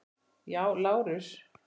Já, Lárus!